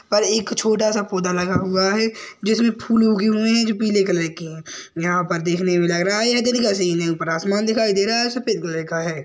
और एक छोटा सा पौधा लगा हुआ है जिसमे फूल उगे हुए है जो पीले कलर के है यहाँ पर देखने मे लग रहा है यह दिन का सीन है ऊपर आसमान दिखाई दे रहा और सफेद कलर का है ।